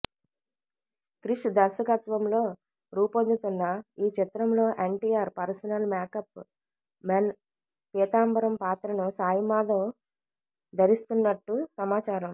క్రిష్ దర్శకత్వంలో రూపొందుతున్న ఈ చిత్రంలో NTR personal makeup men Peethambaram పాత్రను సాయిమాధవ్ ధరిస్తున్నట్టు సమాచారం